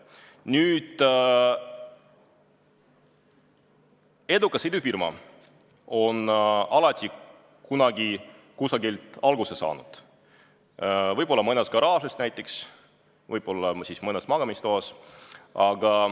Nüüd, edukas idufirma on alati kunagi kusagilt alguse saanud – võib-olla näiteks mõnes garaažis, võib-olla mõnes magamistoas.